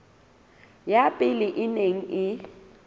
ya pele e neng e